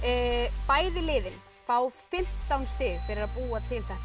bæði liðin fá fimmtán stig fyrir að búa til þetta